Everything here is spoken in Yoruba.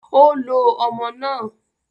Ó lo ọmọ náà